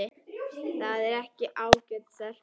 Þetta er alveg ágæt stelpa.